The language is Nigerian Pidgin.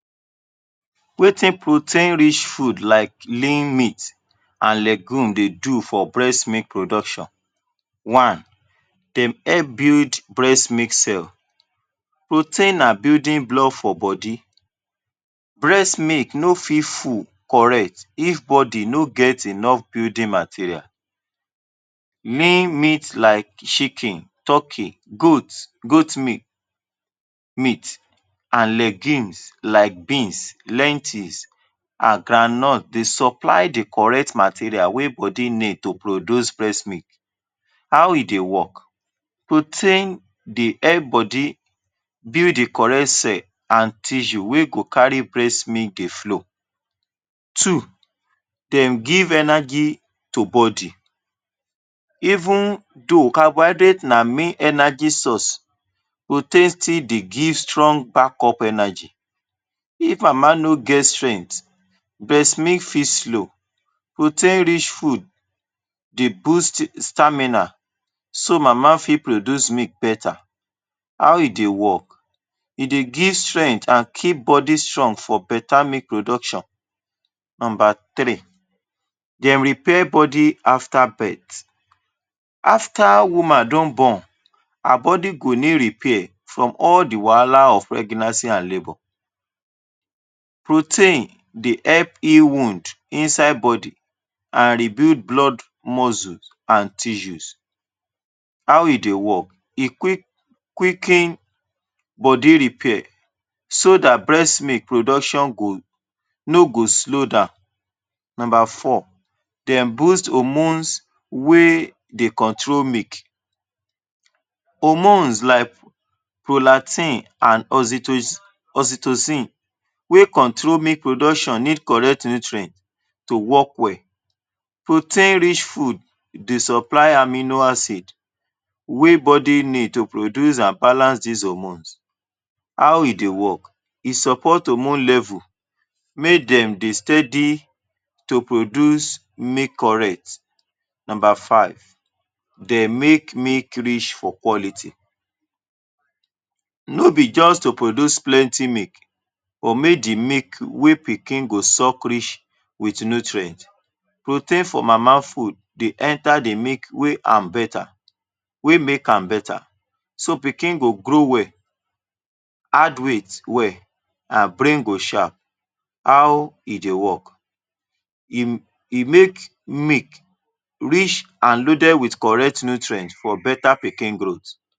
Wetin protein-rich food like lean meat and legume dey do for breast milk production? One. Them help build breast milk cells. Protein na building block for body. Breast milk no fit full correct if body no get enough building material. Lean meat like chicken, turkey, goat goat meat meat, and legumes like beans, lentils, and groundnuts dey supply the correct material wey body need to produce breast milk. How e dey work? Protein dey help body build the correct cell and tissue wey go carry breast milk dey flow. Two. Dem give energy to body. Even though carbohydrate na main energy source, protein still dey give strong backup energy. If mama no get strength, breast milk fit slow. Protein-rich food dey boost stamina, so mama fit produce milk better. How e dey work? E dey give strength and keep body strong for better milk production. Number three. Dem repair body after birth. After woman don born, her body go need repair from all the wahala of pregnancy and labor. Protein dey help heal wound inside body and rebuild blood muscles and tissues. How e dey work? E quick quicken body repair so dat breast milk production go, no go slow down. Number four. Dem boost hormones wey dey control milk. Hormones like prolactin and oxyto oxytocin wey control milk production need correct nutrients to work well. Protein-rich food dey supply amino acids wey body need to produce and balance dese hormones. How e dey work? E support hormone levels, make dem dey steady to produce milk correct. Number five. De make milk rich for quality. No be just to produce plenty milk or mey the milk wey pikin go suck rich with nutrient. Protein for mama food dey enter the milk wey am better, wey make am better. So, pikin go grow well, add weight well, and brain go sharp. How e dey work? E e make milk rich and loaded with correct nutrients for better pikin growth